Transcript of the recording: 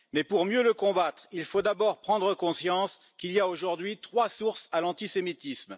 Mais pour mieux le combattre, il faut d'abord prendre conscience qu'il y a aujourd'hui trois sources à l'antisémitisme.